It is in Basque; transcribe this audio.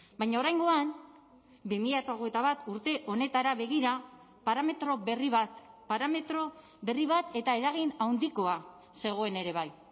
baina oraingoan bi mila hogeita bat urte honetara begira parametro berri bat parametro berri bat eta eragin handikoa zegoen ere bai